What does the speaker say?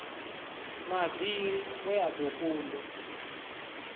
mavili we a do kundwa